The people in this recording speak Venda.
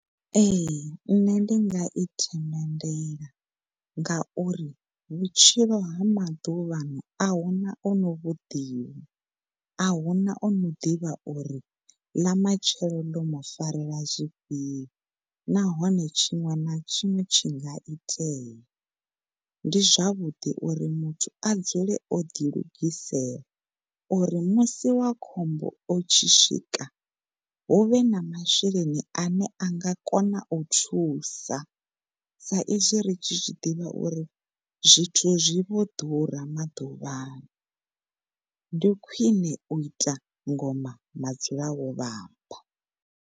Ehe, ṋne ndi nga i themendela ngauri vhutshilo ha maḓuvha ano ahuna ono vhu ḓivha, ahuna ano ḓivha uri ḽa matshelo ḽo mu farela zwifhio nahone tshiṅwe na tshiṅwe tshi nga itea ndi zwavhuḓi uri muthu a dzule o ḓi lugisela uri musi wa khombo u tshi swika huvhe masheleni ane a nga kona u thusa sa izwi ri tshi zwiḓivha uri zwithu zwi vho ḓura maḓuvhano ndi khwiṋe u ita oma .